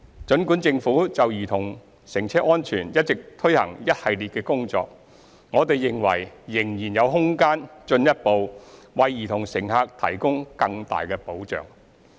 儘管政府就兒童乘車安全一直進行一系列工作，我們認為仍有空間進一步為兒童乘客提供更大的保障。